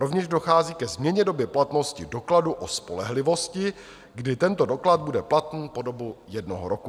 Rovněž dochází ke změně doby platnosti dokladu o spolehlivosti, kdy tento doklad bude platný po dobu jednoho roku.